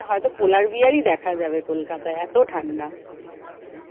হয়তো polar bear ই দেখা যাবে কলকাতায় এতো ঠাণ্ডা।